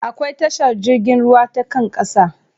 Akwai tashar jirgin ruwa ta kan ƙasa.